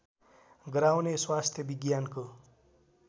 गराउने स्वास्थ्य विज्ञानको